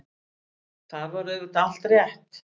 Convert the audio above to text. Þar var auðvitað allt rétt.